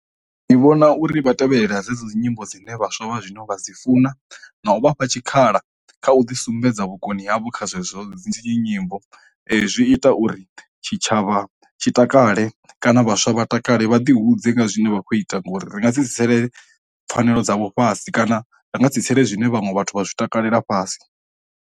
Ndi vhona uri vha tevhelelela dzedzo dzi nyimbo dzine vhaswa vha zwino vha dzi funa na u vhafha tshikhala kha u ḓi sumbedza vhukoni havho kha zwezwo dzitshi nyimbo, zwi ita uri tshitshavha tshi takale kana vhaswa vha takale vha ḓi hudze nga zwine vha khou ita ngori ri nga dzi dzi tsitsele pfanelo dzavho fhasi kana, ndi nga si tsitsele zwine vhaṅwe vhathu vha zwi takalela fhasi.